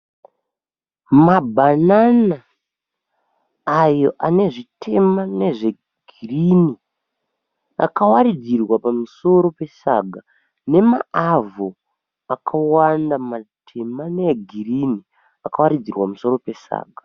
Mabhanana ayo ane zvitema nezvegirini akawaridzirwa pamusoro pesanga nemaavho akawanda matema neegirini akawaridzirwa pamusoro pesaga.